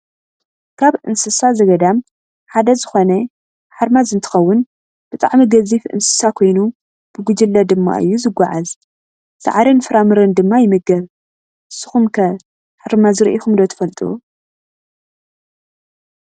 ካብ እንስሳ ዘገዳም ሓደ ዝኮነ ሓርማዝ እንትከውን ብጣዕሚ ገዚፍ እንስሳ ኮይኑ ብጉጅለ ድማ እዩ ዝጓዓዝ። ሳዕርን ፍራምረን ድማ ይምገብ ። ንስኩም ከ ሓርማዝ ሪኢኩም ዶ ትፈልጡ ?